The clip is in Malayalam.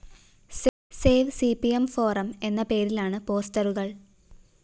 save C P M forum എന്ന പേരിലാണ് പോസ്റ്ററുകള്‍